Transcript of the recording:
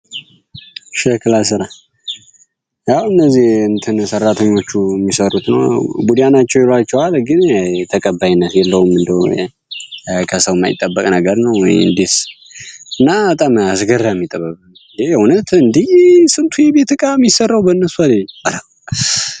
የሸክላ አሰራር አሁን እዚህ ሰራተኞቹ የሚሰሩት ቡዳ ናቸው ግን ተቀባይነት የለውም ከሰው የማይጠበቅ ነገር ነው እንግዲህ እና በጣም አስገራሚ ጥበብ ነው ማለት እንዴ ስንቱ የቤት እቃ የሚሰራው በእነርሱ አይደል እንዴ።